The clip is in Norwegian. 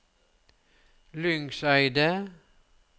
Lyngseidet